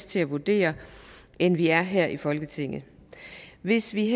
til at vurdere det end vi er her i folketinget hvis vi